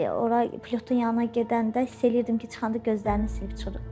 Ora pilotun yanına gedəndə hiss eləyirdim ki, çıxanda gözlərini silib çıxırıb.